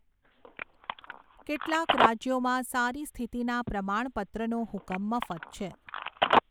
કેટલાંક રાજ્યોમાં સારી સ્થિતિના પ્રમાણપત્રનો હુકમ મફત છે.